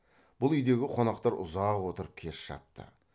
бұл үйдегі қонақтар ұзақ отырып кеш жатты